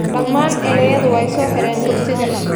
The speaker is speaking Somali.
Dhammaan ardaydu weey so xireen dugsiga